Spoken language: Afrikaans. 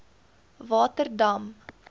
waterdam